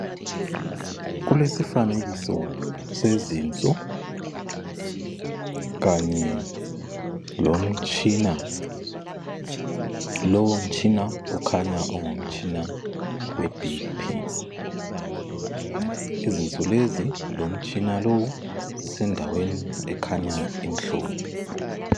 Kulesifanekiso sezinso kanye lomtshina. Lowomtshina ukhanya ungumtshina weBP. Izinso lezi lomtshina lo zisendaweni ekhanya imhlophe.